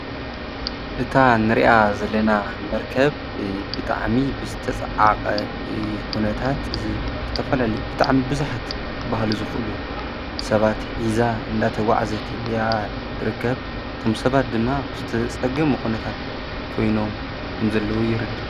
እታ ንሪኣ ዘለና መርከብ ብጣዕሚ ብዝተፀዓቐ ኩነታት ዝተፈላለዩ ብጣዕሚ ብዙሓት ክበሃሉ ዝኽእሉ ሰባት ሒዛ እናተጓዓዘት እያ ትርከብ፡፡ እቶም ሰባት ድማ ብዝተፀገሙ ኩነታት ኮይኖም ከምዘለዉ የርድእ ፡፡